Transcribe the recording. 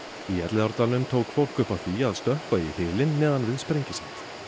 í Elliðaárdalnum tók fólk upp á því að stökkva í hylinn neðan við Sprengisand